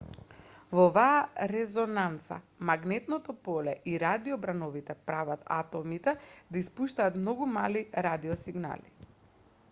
во оваа резонанца магнетното поле и радиобрановите прават атомите да испуштаат многу мали радиосигнали